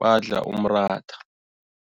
badla umratha.